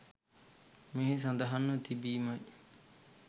මෙහි සඳහන්ව තිබීමයි.